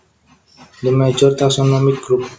The major taxonomic group